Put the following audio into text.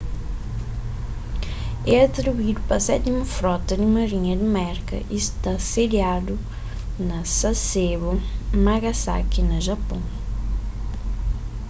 é atribuídu pa sétimu frota di marinha di merka y sta sediadu na sasebo nagasaki na japôn